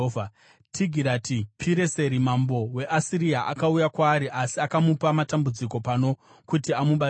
Tigirati-Pireseri mambo weAsiria akauya kwaari, asi akamupa matambudziko pano kuti amubatsire.